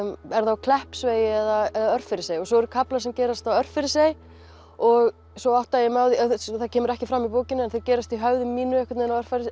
á Kleppsvegi eða Örfirisey svo eru kaflar sem gerast á Örfirisey og svo áttaði ég mig á því það kemur ekki fram í bókinni en það gerist í höfði mínu á